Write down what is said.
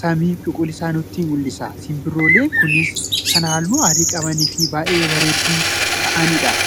samii cuquliisaa nutti mul'isa. Simbirrooleen kunis kan halluu adii qabaniifi bay'ee babareedduu ta'anidha.